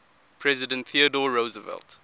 president theodore roosevelt